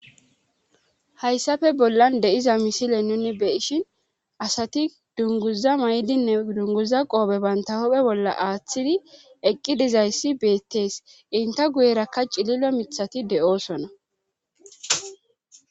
hayssafe bollan de7iza misile nuni beshin asati dunguza may7dinne dunguza qoobe banta hophe bolla aaththidi eqqi dizayssi beettees inte guyerakka cililo mithati de7oosona